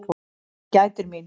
Hann gætir mín.